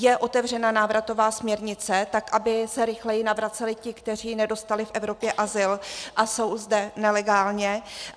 Je otevřena návratová směrnice, tak aby se rychleji navraceli ti, kteří nedostali v Evropě azyl a jsou zde nelegálně.